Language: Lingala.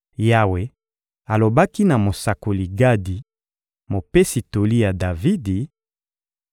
Yawe alobaki na mosakoli Gadi, mopesi toli ya Davidi: